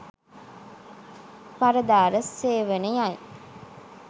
පරදාර සේවනයයි.